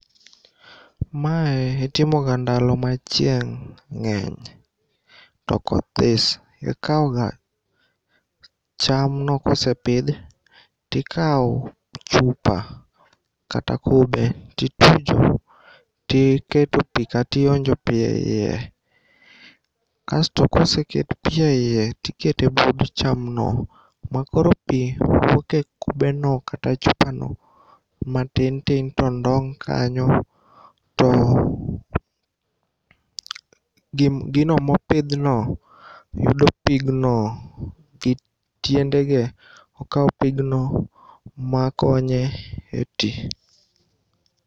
Mae itimoga ndalo ma chieng' ng'eny to koth this. Ikaoga chamno kosepidhi tikao chupa kata kube titujo tiketo pii kationjo pii eiye kasto koseket pii eiye tikete but chamno makoro pii wuoke kubeno kata chupano ma tin tin tondong' kanyo to gino mopidhno, yudo pigno gitiendege. Okao pigno makonye e tii.